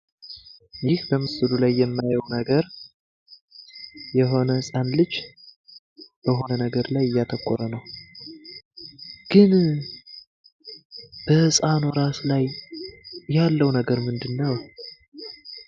ምስሉ ላይ የምንመለከተው የሆነ ህጻን ልጅ እያጠቆረ እናያለን። ግን በህጻኑ ራስ ላይ ያለው ነገር ምንድነው?